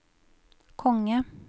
konge